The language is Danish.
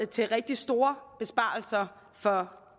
til rigtig store besparelser for